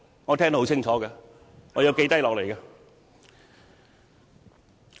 我聽得很清楚，並已記錄下來。